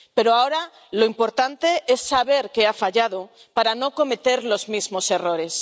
Pero ahora lo importante es saber qué ha fallado para no cometer los mismos errores.